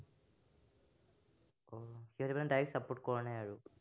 সিহঁতি মানে direct support কৰা নাই আৰু।